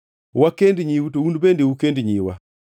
Wakend nyiu to un bende ukend nyiwa.